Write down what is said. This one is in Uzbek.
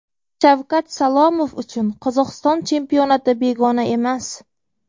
Shavkat Salomov uchun Qozog‘iston chempionati begona emas.